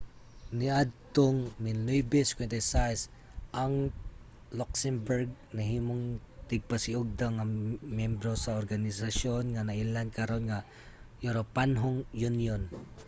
niadtong 1957 ang luxembourg nahimong tigpasiugda nga membro sa organisasyon nga nailhan karon nga uropanhong unyon